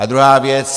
A druhá věc.